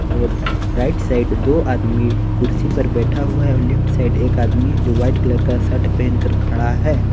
और right side दो आदमी कुर्सी पर बैठा हुआ है और लेफ्ट साइड एक आदमी जो वाइट कलर का शर्ट पहनकर खड़ा है।